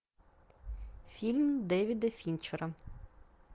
фильм дэвида финчера